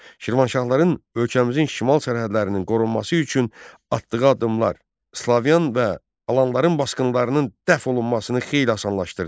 Şirvanşahların ölkəmizin şimal sərhədlərinin qorunması üçün atdığı addımlar slavyan və alanların basqınlarının dəf olunmasını xeyli asanlaşdırdı.